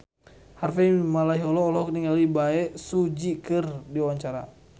Harvey Malaiholo olohok ningali Bae Su Ji keur diwawancara